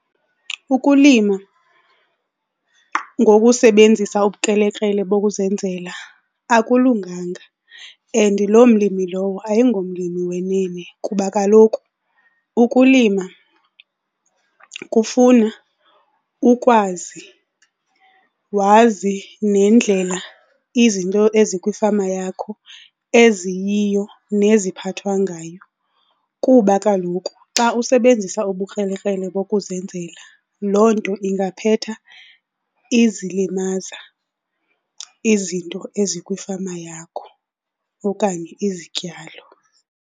Ukulima ngokusebenzisa ubukrelekrele bokuzenzela akulunganga and loo mlimi lowo ayingomlimi wenene kuba kaloku ukulima kufuna ukwazi, wazi nendlela izinto ezikwifama yakho eziyiyo neziphathwa ngayo. Kuba kaloku xa usebenzisa ubukrelekrele bokuzenzela loo nto ingaphetha izilimaza izinto ezikwifama yakho okanye izityalo.